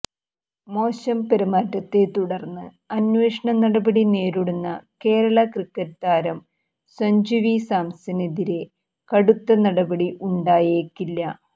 മോശം പെരുമാറ്റത്തെ തുടര്ന്ന് അന്വേഷണ നടപടി നേരിടുന്ന കേരള ക്രിക്കറ്റ് താരം സഞ്ജു വി സാംസണെതിരേ കടുത്ത നടപടി ഉണ്ടായേക്കില്ല